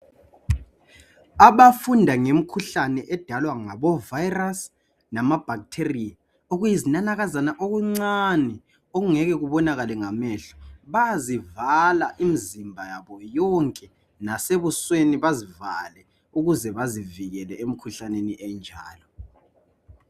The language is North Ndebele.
Abafunda ngemkhuhlane edalwa ngabo virus lama bacteria okuyizinanakazana okuncane okungeke kubonakale ngamehlo bayazivala imzimba yabo yonke lasebusweni bazivale ukuze bazivikele emkhuhlaneni enjalo